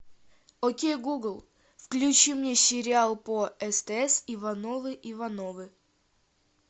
окей гугл включи мне сериал по стс ивановы ивановы